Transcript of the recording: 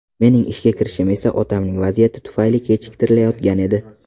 Mening ishga kirishim esa otamning vaziyati tufayli kechiktirilayotgan edi.